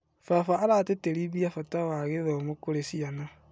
Baba aratĩtĩrithia bata wa gĩthomo kũrĩ ciana.